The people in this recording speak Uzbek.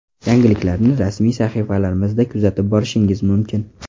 Yangiliklarni rasmiy sahifalarimizda kuzatib borishingiz mumkin.